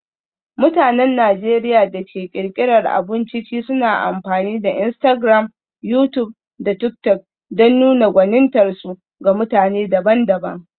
Mutanen Najeriya da ke ƙirƙirar abun ciki suna amfani da Instagram, YouTube, da TikTok don nuna gwanintarsu ga mutane daban-daban.